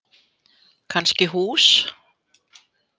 Kannski hús.